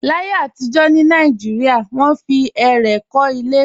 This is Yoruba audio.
Láyé àtijọ́ ní Nàìjíríà, wọ́n fi ẹrẹ̀ kọ́ ilé